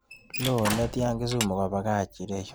Loo oletian kisumu kobach ireyu